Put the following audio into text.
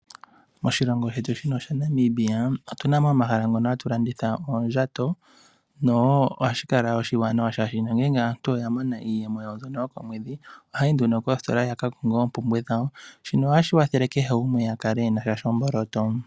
Moshilongo shetu shino shaNamibia otuna mo omahala ngono hatu landitha oondjato noshowo ohashi kala oshiwanawa, oshoka ngele aantu oya mona iiyemo yawo mbyono yokomwedhi ohaya yi nduno koositola yaka konge oompumbwe dhawo. Shino otashi kwathele kehe gumwe a kale e na sha shomboloto.